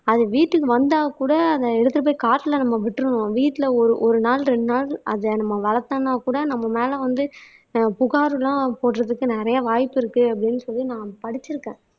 அது வீட்டுக்கு வந்தா கூட அதை எடுத்துட்டு போய் காட்டுல நம்ம விட்டுருவோம் வீட்ல ஒரு ஒரு நாள் ரெண்டு நாள் அதை நம்ம வளர்த்தோம்னா கூட நம்ம மேலே வந்து ஆஹ் புகார் எல்லாம் போடுறதுக்கு நிறைய வாய்ப்பு இருக்கு அப்படின்னு சொல்லி நான் படிச்சிருக்கேன்